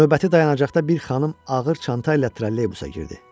Növbəti dayanacaqda bir xanım ağır çanta ilə trolleybusa girdi.